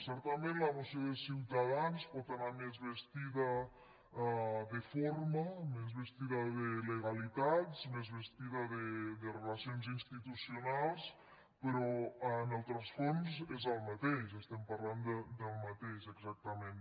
certament la moció de ciutadans pot anar més vestida de forma més vestida de legalitat més vestida de relacions institucionals però en el rerefons és el mateix estem parlant del mateix exactament